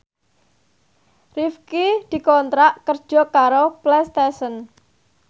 Rifqi dikontrak kerja karo Playstation